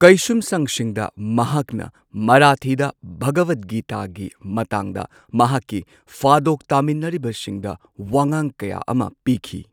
ꯀꯩꯁꯨꯝꯁꯪꯁꯤꯡꯗ ꯃꯍꯥꯛꯅ ꯃꯔꯥꯊꯤꯗ ꯚꯒꯋꯠ ꯒꯤꯇꯥꯒꯤ ꯃꯇꯥꯡꯗ ꯃꯍꯥꯛꯀꯤ ꯐꯥꯗꯣꯛ ꯇꯥꯃꯤꯟꯅꯔꯤꯕꯁꯤꯡꯗ ꯋꯥꯉꯥꯡ ꯀꯌꯥ ꯑꯃ ꯄꯤꯈꯤ꯫